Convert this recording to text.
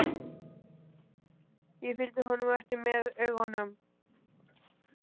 Ég fylgdi honum eftir með augunum.